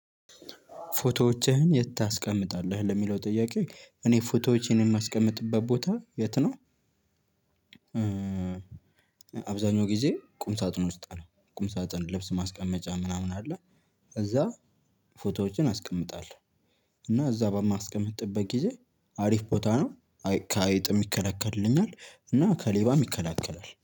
ፎቶዎችህን የት ታስቀምጣለህ ለሚለው ጥያቄ እኔ ፎቶዎች የማስቀምጥበት ቦታ የት ነው? አብዛኛው ጊዜ ቁም ሳጥን ውስጥ ነው ቁም ሳጥን ልብስ ማስቀመጫ ምናምን አለ። እዛ ፎቶዎችን አስቀምጣለሁ። እና እዛ በማስቀምጥበት ጊዜ አሪፍ ቦታ ነው። ከአይጥ ይከላከልልኛል እና ከሌባም ይከለከላል